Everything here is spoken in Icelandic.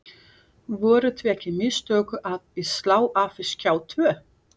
Voru því ekki mistök að slá af Skjá tvo?